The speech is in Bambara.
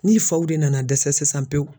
Ni faw de nana dɛsɛ sisan pewu.